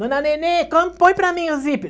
Dona Nenê, como, põe para mim o zíper.